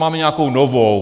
Máme nějakou novou.